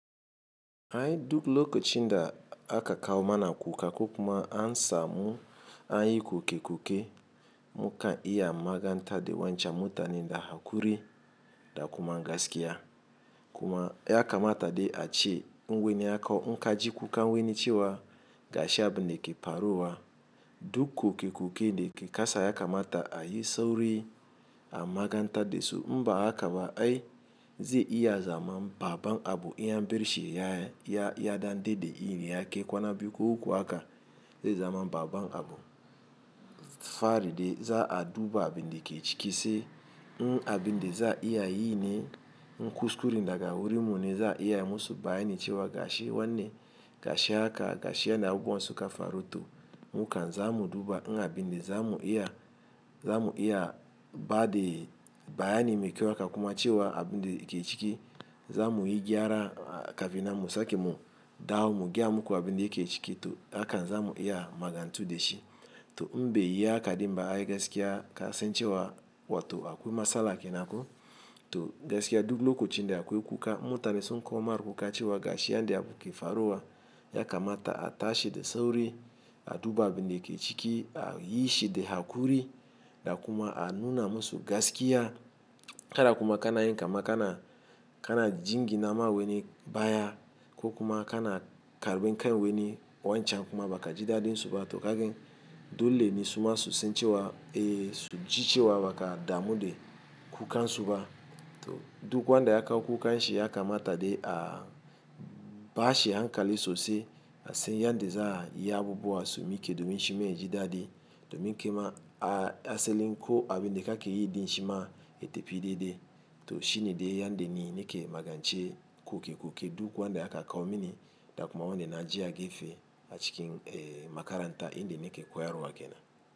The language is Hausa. Ai duk lokacinda a ka kawo mana kuka ko kuma ansa mu anyi koke koke mukan iya maganta de wancan mutane da haƙuri da kuma gaskiya kuma ya kamata dai a ce in wani yakawo inkaji kukan wani cewa gashi abun da ke faruwa duk koke koken da yake ƙasa yakamata a yi sauri a magantar dasu. In ba haka ba ai ze iya zama baban abu in an barshi ya ya dan dade iri yakai kwana biyu ko uku haka ze zama baban abu. Fari de za a duba abin da ke ciki sai in abin da za iya yine, in kuskuri daga wurin mune za iya musu bayani cewa gashi wanne gashi haka gashi yanda abubuwan suka faru to mukan za mu duba in abin da zamu iya zamu iya ba de bayani me kyau haka kuma cewa abin da ike ciki za mu yi gyara kafin nan musake mu dawo mu gaya muku abin da yake ciki to hakan za mu iya magantu dashi. To in be yi haka dimba ai gaskiya ka san cewa wato akwai matsala kenan ko to gaskiya duk lokacin da akwai kuka mutane sun kawoma kuka cewa gashi yanda ke faruwa yakamata a tashi da sauri a duba abin de ke ciki a yi shi da hakuri da kuma a nuna musu gaskiya. Kada kuma ka na yin kaman ka na ka na jingina ma wani baya ko kuma kana karɓe kan wani wancan kuma baka ji daɗin shiba to kaga dole ne su ma su san cewa eh su ji cewa baka damu da kukansu ba. To duk wanda ya kawo kukan shi yakamata dai a ba shi hankali sosai a san yanda za ayi abubuwa su mike domin shi ma ya ji daɗi domin kaima a asalin ko abin da ka ke yi din shima ya tafi dai dai. To shine dai yanda ni nake magance koke koke duk wanda aka kawo mini da kuma wanda na ajeye a gefe a cikin eh makaranta in da nake koyarwa kenan.